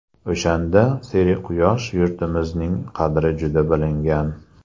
O‘shanda serquyosh yurtimizning qadri juda bilingan.